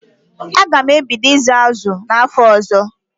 Aga m ebido ịzụ azụ n'afọ ọzọ.